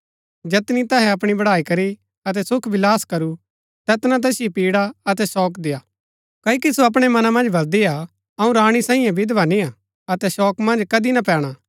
जैतनी तैहै अपणी बड़ाई करी अतै सुखविलास करू तैतना तैसिओ पीड़ा अतै शोक देय्आ क्ओकि सो अपणै मना मन्ज बलदी हा अऊँ राणी सांईये हा विधवा निय्आ अतै शोक मन्ज कदी ना पैणा